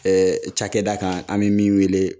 Ɛɛ cakɛda kan an bi min wele